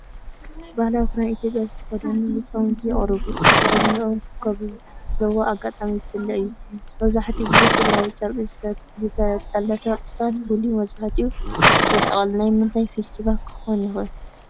ባህላዊ ክዳን ኢትዮጵያ ዝተኸድኑ ህጻናት የቕርቡ። ኣከዳድናኦም ከከም ዞባን ኣጋጣሚን ይፈላለ እዩ። መብዛሕትኡ ግዜ ሕብራዊ ጨርቂ፡ ዝተጠልፈ ቅርጽታትን ፍሉይ መሳርሒታትን የጠቓልል። ናይ ምንታይ ፌስቲቫል ክኾን ይኽእል?